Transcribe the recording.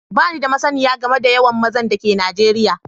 Bani da masniyar game da yawan maza da ke Najeriya